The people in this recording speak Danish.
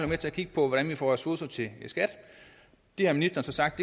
med til at kigge på hvordan vi får ressourcer til skat det har ministeren så sagt